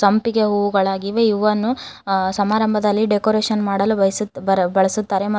ಸಂಪಿಗೆ ಹೂಗಳಾಗಿವೆ ಇವನ್ನು ಆ- ಸಮಾರಂಭದಲ್ಲಿ ಡೆಕೋರೇಷನ್ ಮಾಡಲು ಬಯಸುತ್- ಬಳಸ್-ಬಳಸುತ್ತಾರೆ ಮತ್ತು--